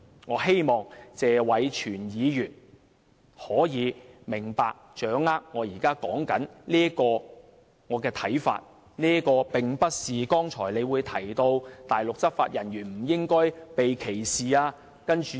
我希望謝偉銓議員可以明白及掌握我現時所說的觀點，這並不是剛才他提到大陸執法人員不應該被歧視的說法。